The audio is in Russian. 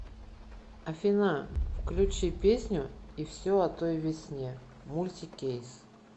афина включи песню и все о той весне мультикейс